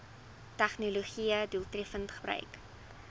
tegnologië doeltreffend gebruik